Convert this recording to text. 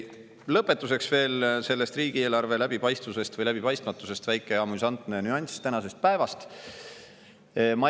Lõpetuseks veel riigieelarve läbipaistvusest või läbipaistmatusest väike amüsantne nüanss tänasest päevast.